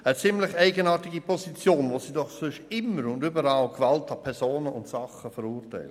Eine ziemlich eigenartige Position, wo die Linke doch sonst immer Gewalt an Sachen und Personen verurteilt.